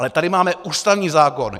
Ale tady máme ústavní zákon.